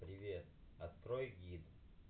привет открой гид